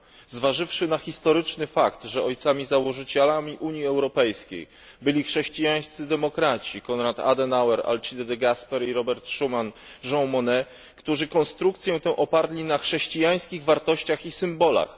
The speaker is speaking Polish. Zważywszy na historyczny fakt, że ojcami założycielami Unii Europejskiej byli chrześcijańscy demokraci Konrad Adenauer, Alcide De Gasperi, Robert Schuman, Jean Monnet, którzy konstrukcję tę oparli na chrześcijańskich wartościach i symbolach.